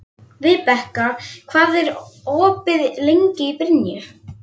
Vibeka, hvað er opið lengi í Brynju?